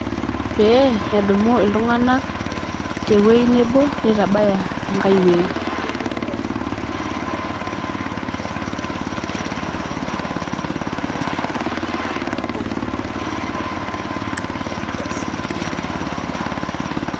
Pee edumu iltungank tewuei nebo nitabaya enkae wuei